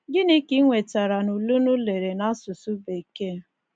Gịnị ka i nwetara n’ule ụnụ lere n’asụsụ Bekee? ’